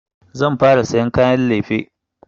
Zan fara sayan kayan lefe.